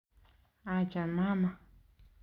Acha mama